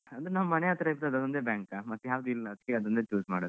ಅಂದ್ರೆ ನಮ್ಮ್ ಮನೆ ಹತ್ರ ಇದ್ದದ್ ಅದ್ ಒಂದೇ bank ಆ ಮತ್ತೆ ಯಾವುದು ಇಲ್ಲ ಅದ್ಕೆ ಅದನ್ನೇ choose ಮಾಡಿದ್ದು.